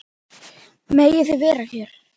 Megið þið vera hér?